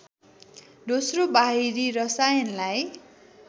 दोस्रो बाहिरी रसायनलाई